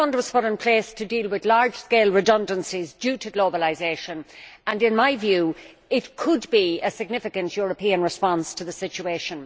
Fund was put in place to deal with large scale redundancies due to globalisation and, in my view, it could provide a significant European response to the situation.